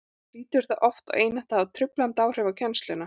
og hlýtur það oft og einatt að hafa truflandi áhrif á kennsluna